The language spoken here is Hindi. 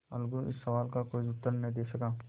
अलगू इस सवाल का कोई उत्तर न दे सका